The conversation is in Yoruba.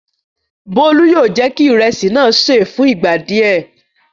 Bólú yóò jẹ́ kí ìrẹsì náà ṣé è fún ìgbà díẹ̀.